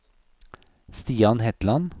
Stian Hetland